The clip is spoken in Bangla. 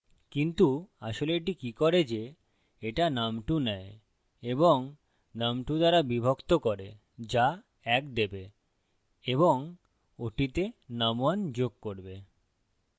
কিন্তু আসলে এটি কি করে যে এটা num2 নেয় এবং num2 দ্বারা বিভক্ত করে যা ১ দেবে এবং ওটিতে num1 যোগ করবে